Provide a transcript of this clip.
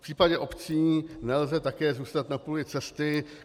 V případě obcí nelze také zůstat na půli cesty.